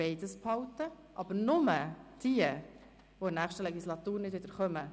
Das gilt aber nur für jene, die in der nächsten Legislatur nicht mehr kommen.